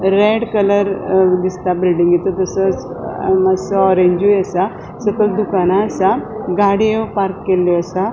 Red colour दिसता बिल्डिंगेसो तशेच मात्सो ओरेंजूय असा सकयल दुकान असा गाड़ियों पार्क केल्ल्यो असा.